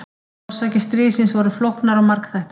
Orsakir stríðsins voru flóknar og margþættar.